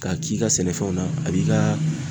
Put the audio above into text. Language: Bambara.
K'a k'i ka sɛnɛfɛnw na a b'i ka